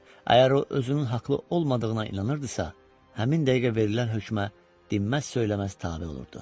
Əgər o özünün haqlı olmadığına inanırdısa, həmin dəqiqə verilən hökmə dinməz-söyləməz tabe olurdu.